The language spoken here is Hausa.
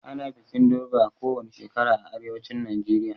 Ana bikin durbar kowani shekara a arewacin Najeriya